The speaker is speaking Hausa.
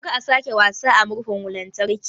Kar ka sake wasa da murhun lantarki